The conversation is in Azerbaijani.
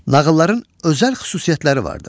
Nağılların özəl xüsusiyyətləri vardır.